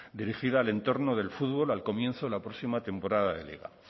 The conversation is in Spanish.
dirigida al entorno del fútbol al comienzo de la próxima temporada de liga